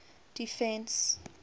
defence